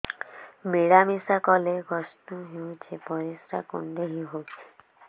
ମିଳା ମିଶା କଲେ କଷ୍ଟ ହେଉଚି ପରିସ୍ରା କୁଣ୍ଡେଇ ହଉଚି